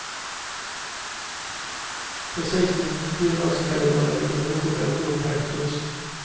Precis intill oss glider en liten motorbåt upp helt tyst.